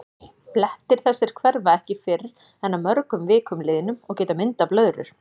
Blettir þessir hverfa ekki fyrr en að mörgum vikum liðnum og geta myndað blöðrur.